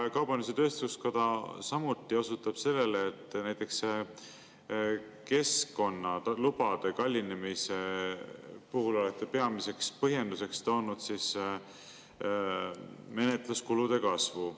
Kaubandus-tööstuskoda osutab samuti sellele, et näiteks keskkonnalubade kallinemise puhul olete peamiseks põhjenduseks toonud menetluskulude kasvu.